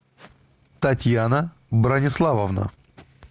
татьяна брониславовна